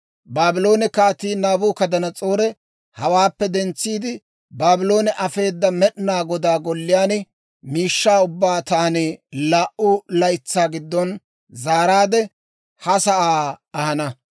Baabloone Kaatii Naabukadanas'oori hawaappe dentsiide, Baabloone afeeda, Med'inaa Godaa Golliyaa miishshaa ubbaa taani laa"u laytsaa giddon zaaraadde, ha sa'aa ahana.